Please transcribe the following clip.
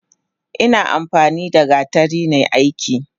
Ina amfanida gatari nai aiki.